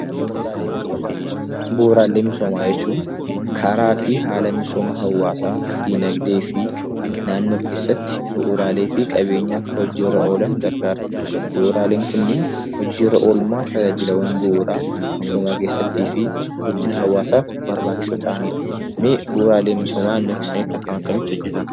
Bu'uuraalee misoomaa jechuun karaa fi haala misooma hawaasa diinagdee fi naannoo keessatti bu'uuraalee fi qabeenyi hojiirra akka oolaniif gargaara. Bu'uuraaleewwan Kunis hojiirra Oolmaa tajaajila misoomaa keessatti fi guddina hawaasaaf barbaachisoo ta'anidha.